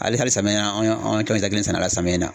Ali hali samiyɛ in na, anw ye sɛnɛ a la samiya in na.